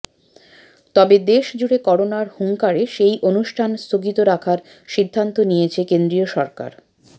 তবে দেশজুড়ে করোনার হুংকারে সেই অনুষ্ঠান স্থগিত রাখার সিদ্ধান্ত নিয়েছে কেন্দ্রীয় সরকার